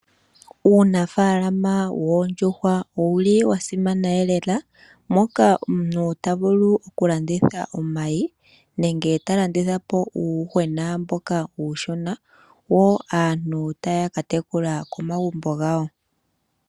Uunafaalama woondjuhwa owuli wa simana elela moka omuntu ta vulu oku landitha omayi nenge ta landitha po uuyuhwena mboka uushona woo aantu taya ka tekula komagumbo gawo.